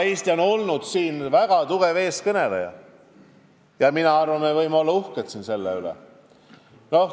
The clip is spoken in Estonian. Eesti on olnud selles vallas väga tugev eestkõneleja ja me võime selle üle uhked olla.